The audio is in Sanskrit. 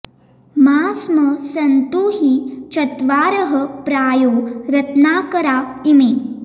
मा स्म सन्तु हि चत्वारः प्रायो रत्नाकरा इमे